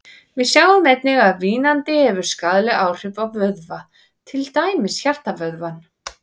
Við sjáum einnig að vínandi hefur skaðleg áhrif á vöðva, til dæmis hjartavöðvann.